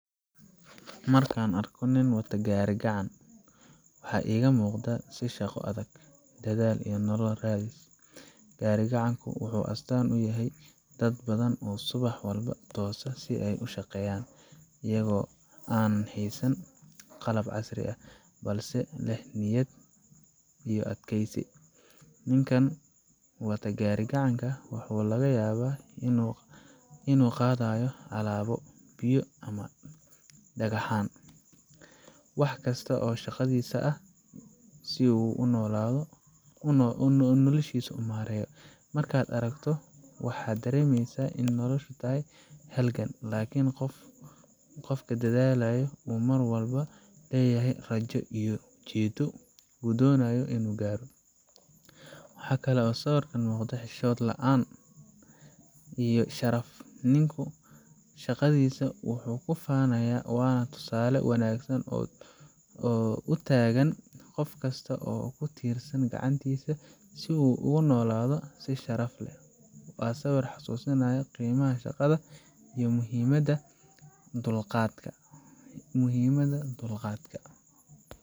Markaan arko nin wata gaari-gacan, waxa iiga muuqda waa shaqo adag, dadaal iyo nolol-raadis. Gaari gacanku wuxuu astaan u yahay dad badan oo subax walba toosa si ay u shaqeeyaan, iyagoo aan haysan qalab casri ah, balse leh niyad iyo adkaysi. Ninkan wata gaari gacanka waxaa laga yaabaa inuu qaadayo alaabo, biyo, ama dhagxaan wax kasta oo shaqadiisa ah si uu noloshiisa u maareeyo. Markaad aragto, waxaad dareemaysaa in noloshu tahay halgan, laakiin qofka dadaalaya uu mar walba leeyahay rajo iyo ujeedo uu doonayo inuu gaaro. Waxa kale oo sawirkan ka muuqda xishood la'aan iyo sharaf; ninku shaqadiisa wuu ku faanayaa, waana tusaale wanaagsan oo u taagan qof kasta oo ku tiirsan gacantiisa si uu ugu noolaado si sharaf leh. Waa sawir kuu xasuusinaya qiimaha shaqada iyo muhiimadda dulqaadka."